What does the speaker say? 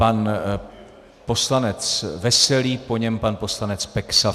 Pan poslanec Veselý, po něm pan poslanec Peksa.